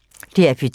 DR P2